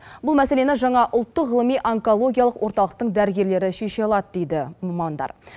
бұл мәселені жаңа ұлттық ғылыми онкологиялық орталықтың дәрігерлері шеше алады дейді мамандар